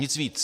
Nic víc.